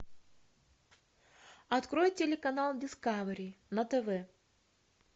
открой телеканал дискавери на тв